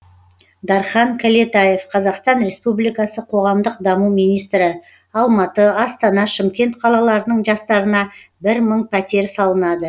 дархан кәлетаев қазақстан республикасы қоғамдық даму министрі алматы астана шымкент қалаларының жастарына бір мың пәтер салынады